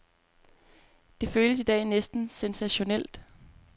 Det føles i dag næsten sensationelt.